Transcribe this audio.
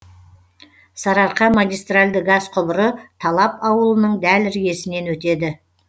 сарыарқа магистральды газ құбыры талап ауылының дәл іргесінен өтеді